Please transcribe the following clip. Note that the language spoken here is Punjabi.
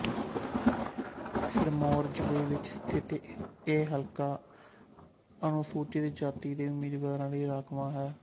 ਸਿਰਮੌਰ ਜ਼ਿਲੇ ਵਿੱਚ ਸਥਿੱਤ ਇਹ ਹਲਕਾ ਅਨੁਸੂਚਿਤ ਜਾਤੀ ਦੇ ਉਮੀਦਾਵਾਂਰਾ ਲਈ ਰਾਖਵਾਂ ਹੈ